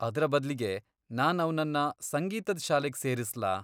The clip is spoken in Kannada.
ಅದ್ರ ಬದ್ಲಿಗೆ ನಾನ್ ಅವ್ನನ್ನ ಸಂಗೀತದ್ ಶಾಲೆಗ್ ಸೇರಿಸ್ಲಾ?